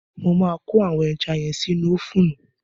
Mo máa kó àwọn ẹja yẹn sínú ófùnù.